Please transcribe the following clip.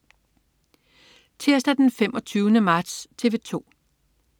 Tirsdag den 25. marts - TV 2: